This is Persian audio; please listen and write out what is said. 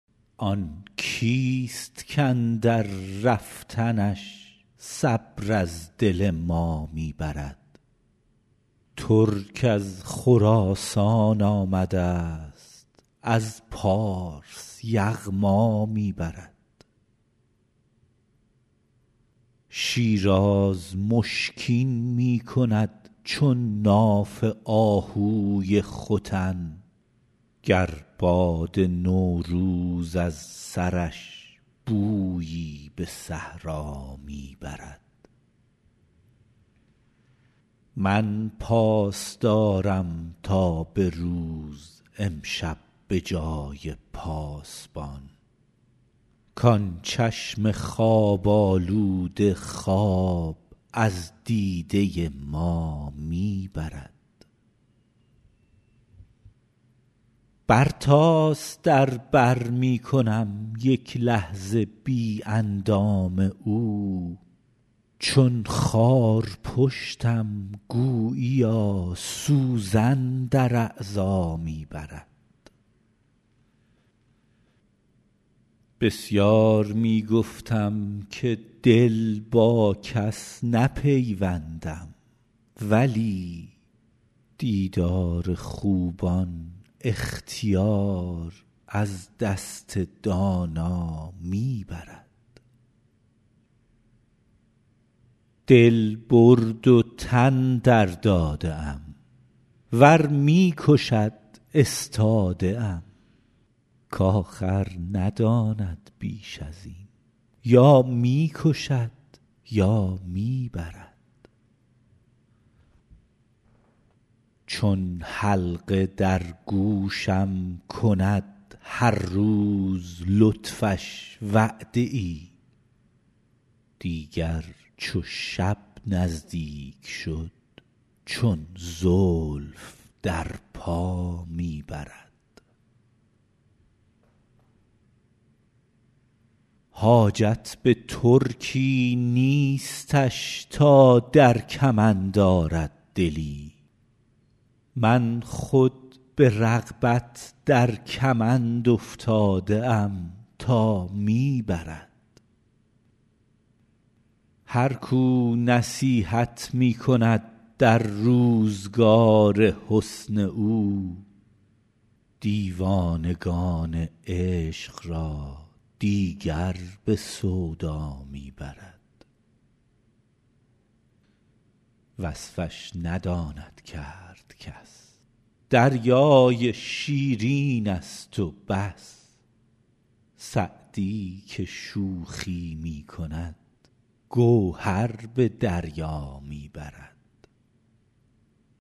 آن کیست کاندر رفتنش صبر از دل ما می برد ترک از خراسان آمدست از پارس یغما می برد شیراز مشکین می کند چون ناف آهوی ختن گر باد نوروز از سرش بویی به صحرا می برد من پاس دارم تا به روز امشب به جای پاسبان کان چشم خواب آلوده خواب از دیده ما می برد برتاس در بر می کنم یک لحظه بی اندام او چون خارپشتم گوییا سوزن در اعضا می برد بسیار می گفتم که دل با کس نپیوندم ولی دیدار خوبان اختیار از دست دانا می برد دل برد و تن درداده ام ور می کشد استاده ام کآخر نداند بیش از این یا می کشد یا می برد چون حلقه در گوشم کند هر روز لطفش وعده ای دیگر چو شب نزدیک شد چون زلف در پا می برد حاجت به ترکی نیستش تا در کمند آرد دلی من خود به رغبت در کمند افتاده ام تا می برد هر کو نصیحت می کند در روزگار حسن او دیوانگان عشق را دیگر به سودا می برد وصفش نداند کرد کس دریای شیرینست و بس سعدی که شوخی می کند گوهر به دریا می برد